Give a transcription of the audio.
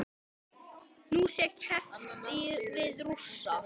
Nú sé keppt við Rússa.